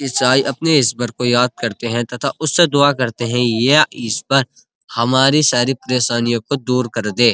ईसाई अपने इस्वर को यद् करते हैं तथा उसे दवा करते हैं। या इस्वर हमारी सारी परेशानियों को दूर कर दे।